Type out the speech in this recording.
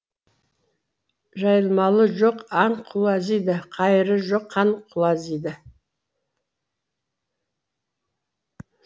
жайылмалы жоқ аң құлазиды қайыры жоқ хан құлазиды